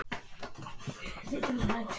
Lilja við Nikka þegar hann sýndi á sér fararsnið.